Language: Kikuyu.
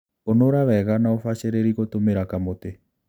Ũnũra wega na ũbacĩrĩri gũtũmĩra kamũtĩ